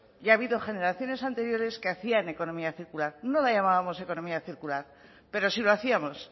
y ha habido generaciones anteriores que hacían economía circular no la llamábamos economía circular pero sí lo hacíamos